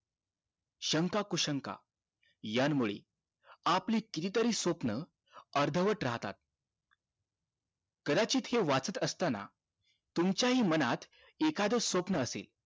शंका कुशंका यामुळे आपली किती तरी स्वप्न अर्धवट राहतात कदाचित हे वाचत असताना तुमच्या हि मनात एखाद स्वप्न असेल